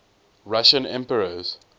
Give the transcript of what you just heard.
russian emperors